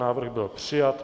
Návrh byl přijat.